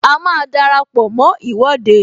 A máa dara pọ mó Ìwọ́de